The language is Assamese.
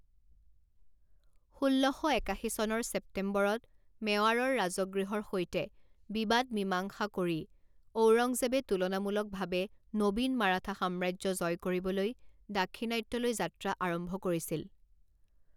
ষোল্ল শ একাশী চনৰ ছেপ্টেম্বৰত মেৱাৰৰ ৰাজগৃহৰ সৈতে বিবাদ মীমাংসা কৰি ঔৰংজেবে তুলনামূলকভাৱে নবীন মাৰাঠা সাম্ৰাজ্য জয় কৰিবলৈ দাক্ষিণাত্যলৈ যাত্ৰা আৰম্ভ কৰিছিল।